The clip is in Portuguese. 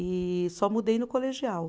E só mudei no colegial.